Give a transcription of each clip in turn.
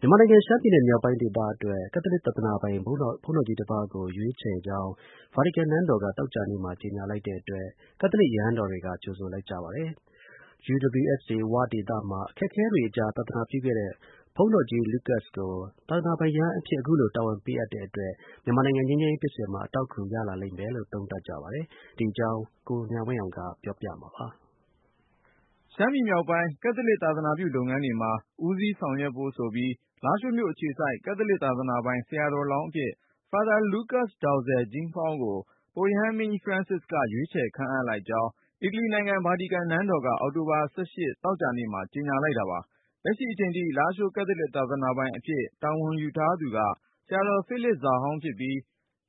မြန်မာနိုင်ငံ ရှမ်းပြည်နယ်မြောက်ပိုင်း လာရှိုးမြို့ ကက်သလစ် သာသနာပိုင်သစ်အဖြစ် ပြင်ဦးလွင်က ဆရာတော် Lucas ကို ရွေးချယ်လိုက်ကြောင်း ဗာတီကန်နန်းတော်က သောကြာနေ့မှာ ကြေညာလိုက်တဲ့အတွက် ကက်သလစ် ရဟန်းတော်တွေက ကြိုဆိုလိုက်ကြပါတယ်။ UWSA ‘ဝ’ ဒေသမှာ အခက်အခဲ တွေကြား သာသနာပြုခဲ့တဲ့ ဘုန်းတော်ကြီး Lucas ကို သာသနာပိုင်ရဟန်းအဖြစ် အခုလို တာဝန်ပေးအပ်တဲ့ အတွက် မြန်မာနိုင်ငံ ငြိမ်းချမ်းရေးဖြစ်စဉ်မှာ အထောက်အကူ ရလာစေလိမ့်မယ်လို့ သုံးသပ်ကြပါတယ်။ ဒီအကြောင်း ကိုဉာဏ်ဝင်းအောင်က ပြောပြမှာပါ။ ရှမ်းပြည်နယ်မြောက်ပိုင်း ကက်သလစ် သာသနာပြုလုပ်ငန်းတွေမှာ ဦးစီးဆောင်ရွက်ဖို့ဆိုပြီး လာရှိုးမြို့အခြေစိုက် ကက်သလစ်သာသနာပိုင် ဆရာတော်လောင်းအဖြစ် Father Lucas Dau Ze Jeimphaung ကို ပုပ်ရဟန်းမင်းကြီး Francis က ရွေးချယ်ကြောင်း အီတလီနိုင်ငံ ဗာတီကန်နန်းတော်က အောက်တိုဘာ(၁၈) သောကြာနေ့မှာ ကြေညာလိုက်တာပါ။ လက်ရှိအချိန်ထိ လာရှိုး ကက်သလစ်သာသနာပိုင်အဖြစ် တာဝန်ယူထားသူက ဆရာတော် ဖိလစ် ဇာဟောင်းဖြစ်ပြီး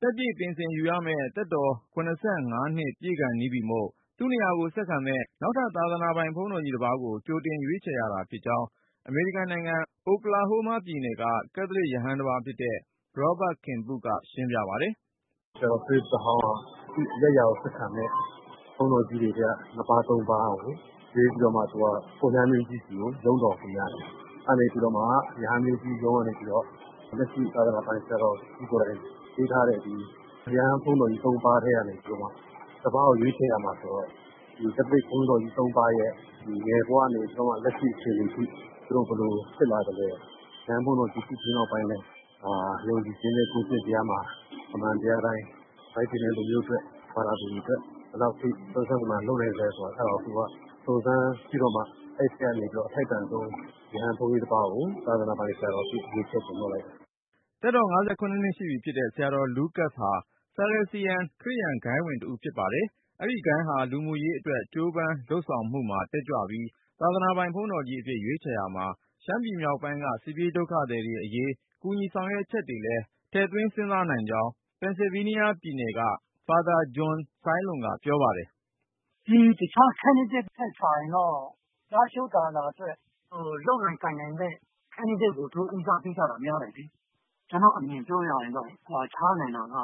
၊ သက်ပြည့်ပင်စင်ယူ ရမယ့် သက်တော်(၇၅) ပြည့်ခါနီးပြီမို့ ၊ သူ့နေရာကို ဆက်ခံမယ့် နောက်ထပ် သာသနာပိုင် ဘုန်းတော်ကြီးတပါးကို ကြိုတင်ရွေးချယ်ရတာ ဖြစ်ကြောင်း အမေရိကန်နိုင်ငံ အိုကလာဟိုးမားပြည်နယ်က ကက်သလစ်ရဟန်တပါးဖြစ်တဲ့ Robert Kim Pu ကရှင်းပြပါတယ်။ “ဆရာတော် ဖိလစ် ဇာဟောင်းက သူ့နေရာကို ဆက်ခံမယ့် ဘုန်းတော်ကြီးတွေထဲက ၂ ပါး ၃ ပါးကို ရွေးပြီးတော့မှ ပုပ်ရဟန်းမင်းကြီးဆီကို ရုံးတော်တင်ရတယ်။ အဲဒီကနေ ပြီးတော့မှ ပုပ်ရဟန်းမင်းကြီးရုံးကနေမှ လက်ရှိသာသနာပိုင် ဆရာတော်ကြီးကိုယ်တိုင်ပေးထားတဲ့ ရဟန်း ဘုန်းတော်ကြီး ၃ ပါးကနေ ၁ ပါးကို ရွေးချယ်ရမယ်ဆိုတော့ ကက်သလစ်ဘုန်းတော်ကြီး ၃ ပါးရဲ့ ငယ်ဘဝကနေပြီးတော့ လက်ရှိအချိန်အထိ သူတို့ဘယ်လို ဖြစ်လာသလဲ၊ ရဟန်းဘုန်းတော်ကြီး ဖြစ်ပြီးနောက်ပိုင်း ယုံကြည်ချင်းနဲ့ ကိုယ်ကျင့်တရားမှာ အမှန်တရားအတိုင်း တိုင်းပြည်နဲ့လူမျိုးအတွက် သာသနာအတွက် ဘယ်လောက်အထိ စွမ်းစွမ်းတမံလုပ်သလဲဆိုတာကို စုံစမ်းပြီးတော့မှ အဲဒီထဲကနေ အထိုက်တန်ဆုံး ရဟန်းဘုန်းကြီးတပါးကို သာသနာပိုင်အဖြစ် ရွေးချယ်တင်မြောက်လိုက်တယ်။ဓ သက်တော် (၅၇)နှစ်ရှိပြီဖြစ်တဲ့ ဆရာတော် Lucas ဟာ Salesian ခရစ်ယာန်ဂိုဏ်းဝင် တဦးဖြစ်ပါတယ်။ အဲဒီဂိုဏ်းဟာ လူမှုရေးအတွက် ကြိုးပမ်း လုပ်ဆောင်မှုမှာ တက်ကြွပြီး၊ သာသနာပိုင် ဘုန်းတော်ကြီးအဖြစ် ရွေးချယ်ရာမှာ ရှမ်းပြည်မြောက်ပိုင်းက စစ်ပြေးဒုက္ခသည်တွေ အရေး ကူညီဆောင်ရွက်ချက်တွေလည်း ထည့်တွက်နိုင်ကြောင်း ပန်ဆယ်ဗေးနီးယား ပြည်နယ်က NCBAC ခေါ် အမေရိကန်-မြန်မာ ကက်သလစ် အသင်းတော် တည်ထောင်သူ ဖာသာ John SaiLon ကပြောပါတယ်။ “ တခြား Candidate တွေထက်စာရင်တော့ လားရှိုးသာသနာအတွက် လုပ်နိုင်ကိုင်နိုင်တဲ့ Candidate ကို သူတို့ဦးစားပေးတာများတယ် ကျနော့်အမြင်ပြောရရင်တော့ ကွာခြားနိုင်တာက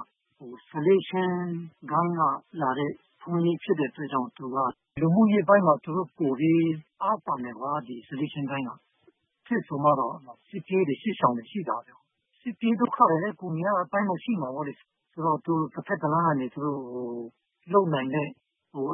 Salesian ဂိုဏ်းက လာတဲ့ ဘုန်းကြီးဖြစ်တဲ့အတွက် လူမှုရေးပိုင်းမှာ ပိုပြီး အားသန်တယ် Salesian ဂိုဏ်းက ။ စစ်ဖြစ်တယ်ဆိုတော့ စစ်ပြေးတွေ စစ်ရှောင်တွေရှိလာတယ်၊ စစ်ပြေးဒုက္ခသည်တွေလည်း ပိုများတဲ့အပိုင်းမှာ ရှိမှာပေါ့။ ဆိုတော့ သူတဖက်တလမ်းကနေ လုပ်နိုင်တဲ့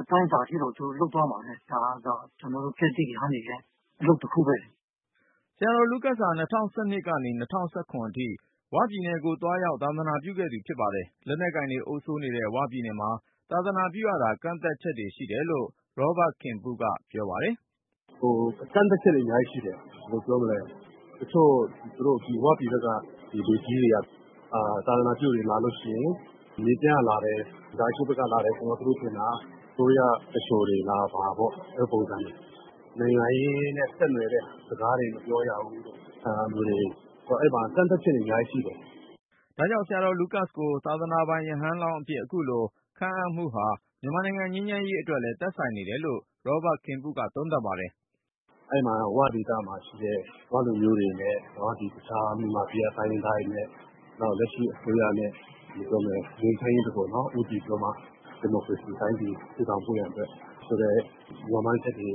အတိုင်းအတာအထိတော့ လုပ်သွားမှာပဲ ဒါကတော့ ကျနော်တို့ ကက်သလစ် ရဟန်းတွေရဲ့ အလုပ်တခုပဲ။” ဆရာတော် Lucas ဟာ ၂၀၁၂ ကနေ ၂၀၁၇ အထိ UWSA ‘ဝ’ပြည်နယ်ကို သွားရောက် သာသနာပြုခဲ့သူဖြစ်ပါတယ်။ လက်နက်ကိုင်တွေ အုပ်စိုးနေတဲ့ ‘ဝ’ပြည်နယ်မှာ သာသနာပြုရတာ ကန့်သတ်ချက်တွေရှိတယ်လို့ Robert Kim Pu ကပြောပါတယ်။ “ကန့်သတ်ချက်တွေ အများကြီးရှိတယ်။ ဘယ်လိုပြောမလဲ တချို့ ဝပြည်ဘက်က လူကြီးတွေက သာသနာပြုတွေ လာရင် ၊ မြေပြန့်ကလာတယ် လားရှိုးကလာတယ်ဆိုရင် သူတို့ထင်တာက အစိုးရ သူလျှိုတွေလား အဲဒီပုံစံ။ နိုင်ငံရေးနဲ့ ဆက်နွယ်တဲ့ စကားတွေ မပြောရဘူး အဲဒီမှာ ကန့်သတ်ချက်တွေ အများကြီးရှိတယ်။” ဒါကြောင့် ဆရာတော် Lucas ကို သာသနာပိုင် ရဟန်းလောင်းအဖြစ် အခုလိုခန့်အပ်မှုဟာ မြန်မာနိုင်ငံ ငြိမ်းချမ်းရေးအတွက်လည်း သက်ဆိုင် နေတယ်လို့ Robert Kim Pu က သုံးသပ်ပါတယ်။ “၀ ဒေသမှာရှိတဲ့ ၀ လူမျိုးတွေနဲ့ တခြားမြန်မာပြည်က တိုင်းရင်းသားတွေနဲ့ လက်ရှိ အစိုးရနဲ့ ငြိမ်းချမ်းရေးဘက်ကို ဦးတည်ပြီးတော့ ဒီမိုကရေစီ တိုင်းပြည် တည်ထောင်ဖို့ရန်အတွက် ဒီလိုမျှော်မှန်းချက်တွေ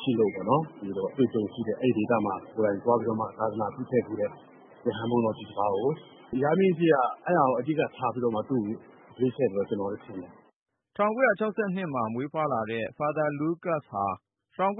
ရှိလို့ အဲဒီဒေသမှာ ကိုယ်တိုင်သွားပြီးတော့မှ အမှုဆောင်ခဲ့တဲ့ ရဟန်းဘုန်းတော်ကြီး တပါးကို အဲဒီအချက်တွေကို အဓိကထားပြီးတော့ သူ့ကိုရွေးချယ်တယ်လို့ ထင်ပါတယ်။” ၁၉၆၂ ခုမှာ မွေးဖွားတဲ့ Father Lucas Dau Ze Jeimphaung ဟာ ၁၉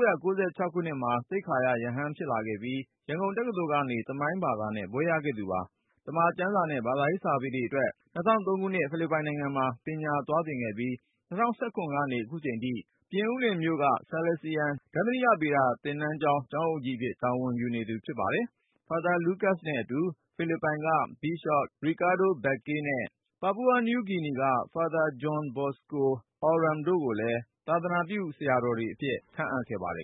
၉၆ ခုနှစ်မှာ သိက္ခာရ ရဟန်းဖြစ်လာခဲ့ပြီး၊ ရန်ကုန်တက္ကသိုလ် ကနေ သမိုင်းဘာသာနဲ့ ဘွဲ့ရခဲ့ပါတယ်။ သမ္မာကျမ်းစာနဲ့ ဘာသာရေးစာပေအတွက် ၂၀၀၃ ခုနှစ် ဖိလစ်ပိုင်နိုင်ငံမှာ ပညာသင်သွားခဲ့ပြီး ၂၀၁၇ ကနေ ခုချိန်ထိ ပြင်ဦးလွင်မြို့က Salesian ဒဿနိကဗေဒ သင်တန်းကျောင်းမှာ ကျောင်းအုပ်ကြီးအဖြစ် တာဝန်ယူနေသူ ဖြစ်ပါတယ်။ Father Lucas နဲ့အတူ ဖိလစ်ပိုင်က Bishop Ricardo Baccay နဲ့ Papua New Guinea က Father John Bosco Auram တို့ကိုလည်း သာသနာပြုဆရာတော်တွေအဖြစ် ခန့်အပ်ခဲ့ပါတယ်